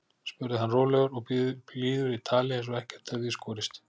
spurði hann rólegur og blíður í tali eins og ekkert hefði í skorist.